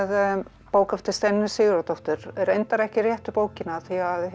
bók eftir Steinunni Sigurðardóttur reyndar ekki réttu bókina því